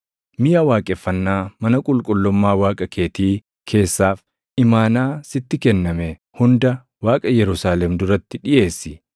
Miʼa waaqeffannaa mana qulqullummaa Waaqa keetii keessaaf imaanaa sitti kenname hunda Waaqa Yerusaalem duratti dhiʼeessi.